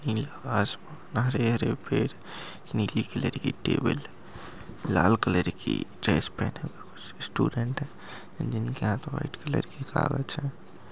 नीला हरे-हरे पेड़ नीली कलर की टेबल लाल कलर की ड्रेस पहने हुए कुछ स्टूडेंट हैं जिनके हाथ मे व्हाइट कलर की कागज है।